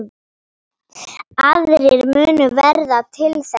Aðrir munu verða til þess.